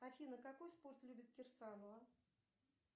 афина какой спорт любит кирсанова